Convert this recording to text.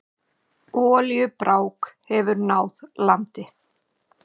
Olíubrák hefur náð landi